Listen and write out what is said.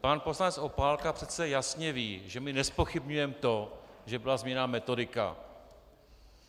Pan poslanec Opálka přece jasně ví, že my nezpochybňujeme to, že byla změněna metodika.